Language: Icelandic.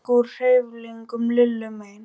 Það rauk úr hreyflinum Lillu megin.